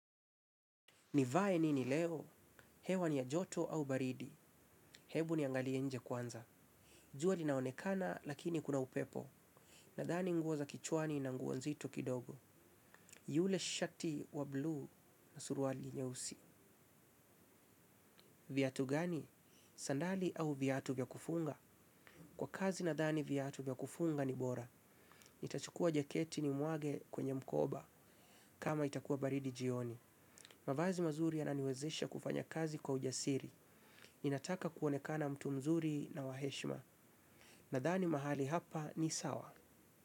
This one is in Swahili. Nivae nini leo? Hewa ni ya joto au baridi. Hebu niangalie nje kwanza. Jua linaonekana lakini kuna upepo. Nadhani nguo za kichwani na nguo nzito kidogo. Yule shati wa blu na suruali nyeusi. Vyatu gani? Sandali au viatu vya kufunga? Kwa kazi nadhani viatu vya kufunga ni bora. Ntachukua jaketi nimwage kwenye mkoba kama itakuwa baridi jioni. Mavazi mazuri yananiwezesha kufanya kazi kwa ujasiri. Ninataka kuonekana mtu mzuri na wa heshma. Nadhani mahali hapa ni sawa.